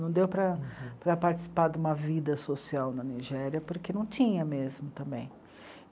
Não deu para, para participar de uma vida social na Nigéria, porque não tinha mesmo também.